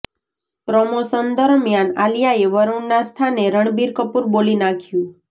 promotion દરમિયાન આલિયાએ વરુણના સ્થાને રણબીર કપૂર બોલી નાખ્યું